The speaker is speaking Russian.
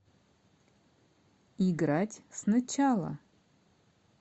играть сначала